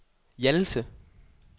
Hjallese